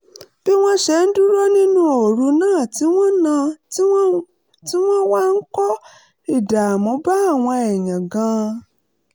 bí wọ́n ṣe ń dúró nínú ooru náà ti wá náà ti wá ń kó ìdààmú bá àwọn èèyàn gan-an